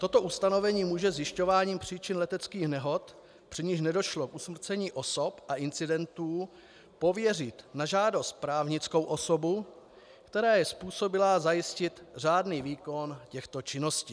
Toto ustanovení může zjišťováním příčin leteckých nehod, při nichž nedošlo k usmrcení osob a incidentů, pověřit na žádost právnickou osobu, která je způsobilá zajistit řádný výkon těchto činností.